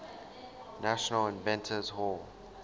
national inventors hall